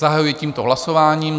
Zahajuji tímto hlasování.